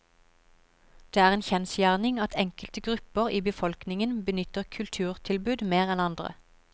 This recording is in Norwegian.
Det er en kjensgjerning at enkelte grupper i befolkningen benytter kulturtilbud mer enn andre.